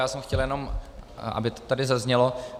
Já jsem chtěl jenom, aby to tady zaznělo.